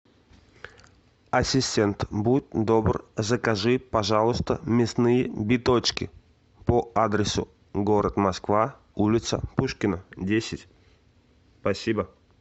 ассистент будь добр закажи пожалуйста мясные биточки по адресу город москва улица пушкина десять спасибо